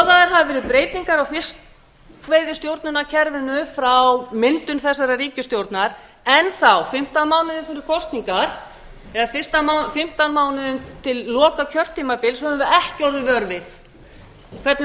hafa verið breytingar á fiskveiðistjórnarkerfinu frá myndun þessarar ríkisstjórnar enn þá fimmtán mánuðum fyrir kosningar eða fimmtán mánuðum til loka kjörtímabils höfum við ekki boðið vör við hvernig